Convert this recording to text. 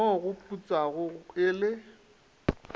mo go putsago e le